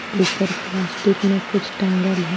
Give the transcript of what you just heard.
ऊपर प्लास्टिक में कुछ टांगल है।